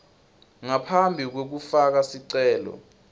ngaphambi kwekufaka sicelo